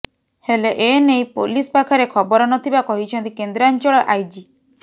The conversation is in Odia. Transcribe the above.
ହେଲେ ଏ ନେଇ ପୋଲିସ ପାଖରେ ଖବର ନଥିବା କହିଛନ୍ତି କେନ୍ଦ୍ରାଞ୍ଚଳ ଆଇଜି